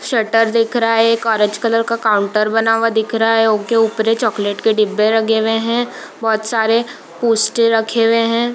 Shutter दिख रहा है | एक ऑरेंज कलर का काउंटर बना हुआ दिख रहा है ओय के ऊपरे चॉकलेट के डिब्बे लगे हुए हैं | बहुत सारे पोस्ट रखे हुए हैं ।